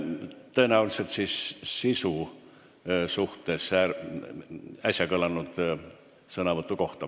Sõnavõtt kohalt, tõenäoliselt siis äsja kõlanud sõnavõtu sisu kohta.